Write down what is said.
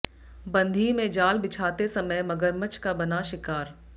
बंधी में जाल बिछाते समय मगरमच्छ का बना शिकार